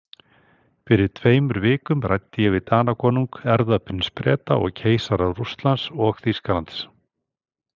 Fyrir tveimur vikum ræddi ég við Danakonung, erfðaprins Breta og keisara Rússlands og Þýskalands.